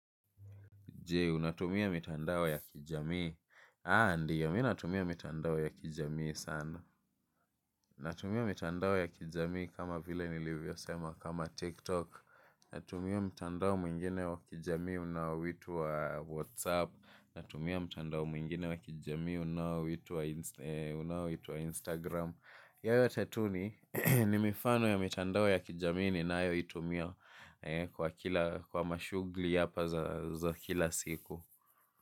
Unatumia mitandao ya kijamii aaah ndio mimi natumia mitandao ya kijamii sana. Natumia mitandao ya kijamii kama vile nilivyo sema kama TikTok. Natumia mitandao mwingine wa kijamii unaoitwa Whatsapp. Natumia mtandao mwingine wa kijamii unaoitwa Instagram. Yote tu ni ni mifano ya mitandao ya kijamii nianayo itumia kwa mashughuli hapa za kila siku.